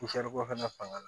fana fanga